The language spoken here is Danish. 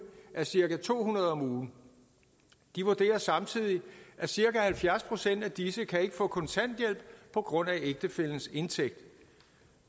er cirka to hundrede om ugen de vurderer samtidig at cirka halvfjerds procent af disse ikke kan få kontanthjælp på grund af ægtefællens indtægt